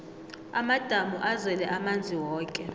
amadamu azele amanzi woke